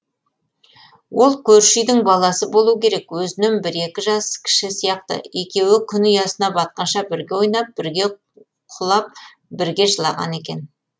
ол көрші үйдің баласы болу керек өзінен бір екі жас кіші сияқты екеуі күн ұясына батқанша бірге ойнап бірге құлап бірге жылаған екен